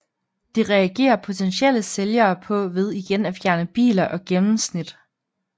Det reagerer potentielle sælgere på ved igen at fjerne biler og gennemsnit